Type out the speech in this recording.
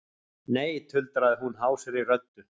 Nei, tuldraði hún hásri röddu.